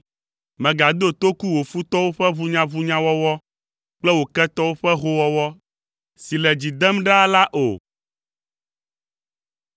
Mègado toku wò futɔwo ƒe ʋunyaʋunyawɔwɔ, kple wò ketɔwo ƒe howɔwɔ si le dzi dem ɖaa la o.